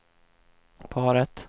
paret